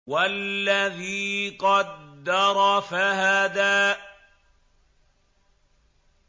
وَالَّذِي قَدَّرَ فَهَدَىٰ